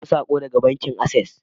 Na samu sako daga bankin Access